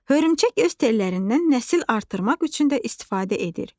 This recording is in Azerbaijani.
Hörümçək öz tellərindən nəsil artırmaq üçün də istifadə edir.